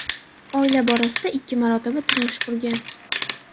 Oila borasida ikki marotaba turmush qurgan.